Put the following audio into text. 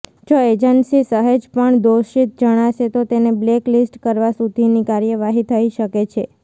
જો એજન્સી સહેજપણ દોષિત જણાશે તો તેને બ્લેક લીસ્ટ કરવા સુધીની કાર્યવાહી થઈ શકે છે